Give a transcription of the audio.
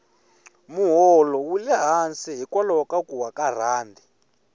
moholo wule hansi hikwalaho ka kuwa ka rhandi